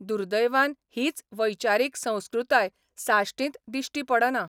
दुर्दैवान हीच वैचारीक संस्कृताय साश्टींत दिश्टी पडना.